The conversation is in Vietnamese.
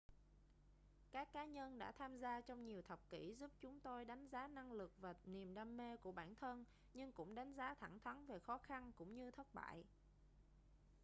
các cá nhân đã tham gia trong nhiều thập kỷ giúp chúng tôi đánh giá năng lực và niềm đam mê của bản thân nhưng cũng đánh giá thẳng thắn về khó khăn cũng như thất bại